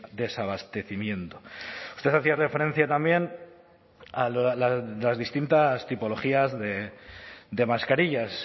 desabastecimiento usted hacía referencia también a las distintas tipologías de mascarillas